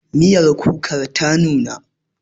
Miyar kukan ta nuna